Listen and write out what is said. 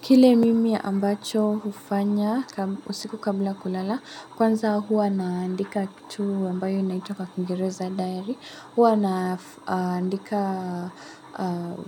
Kile mimi ambacho hufanya usiku kabla kulala, kwanza hua naandika kitu ambayo inaitwa kwa kingereza diary, hua naandika